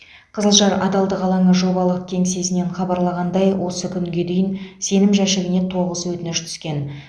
қызылжар адалдық алаңы жобалық кеңсесінен хабарлағандай осы күнге дейін сенім жәшігіне тоғыз өтініш түскен